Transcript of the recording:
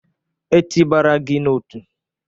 E tị bara gị n'otu?